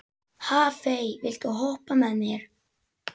Hafey, viltu hoppa með mér?